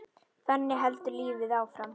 Þannig heldur lífið áfram.